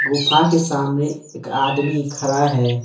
गुफा के सामने एक आदमी खड़ा है।